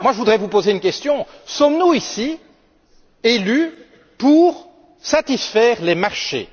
Je voudrais vous poser une question. Sommes nous élus pour satisfaire les marchés?